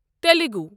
Telugu